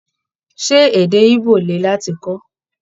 Ṣé èdè Igbo le láti kọ́?